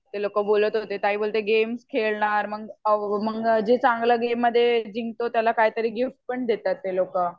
ते लोकं बोलत होते ताई बोलते गेम्स खेळणार मग जे चांगलं गेममध्ये जिंकतात त्यांना काहीतरी गिफ्ट पण देतात ते लोकं